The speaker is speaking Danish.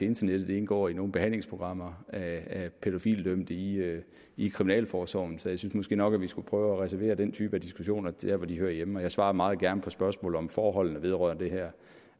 internettet indgår i nogen behandlingsprogrammer af pædofilidømte i i kriminalforsorgen så jeg synes måske nok vi skulle prøve at reservere den type af diskussioner til der hvor de hører hjemme jeg svarer meget gerne på spørgsmål om forhold der vedrører det her